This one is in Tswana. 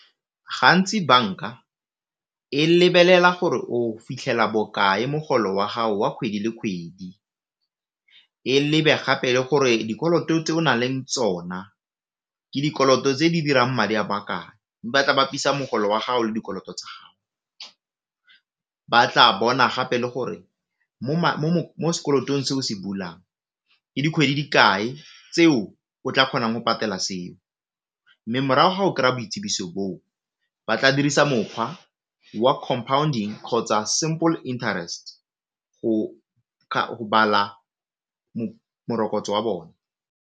Gantsi banka e lebelela gore o fitlhela bokae mogolo wa gago wa kgwedi le kgwedi, e lebe gape le gore dikoloto tse o na leng le tsona ke dikoloto tse di dirang madi a makae, ba tla bapisa mogolo wa gago le dikoloto tsa gago ba tla bona gape le gore mo sekolotong se o se bulang ke dikgwedi dikae tseo o tla kgonang go patela seo, mme morago ga o kry-a boitsibiso bo, ba tla dirisa mokgwa wa compounding kgotsa simple interest go bala morokotso wa bone.